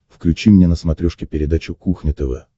включи мне на смотрешке передачу кухня тв